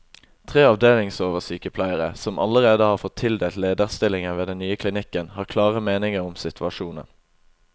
Tre avdelingsoversykepleiere, som allerede har fått tildelt lederstillinger ved den nye klinikken, har klare meninger om situasjonen.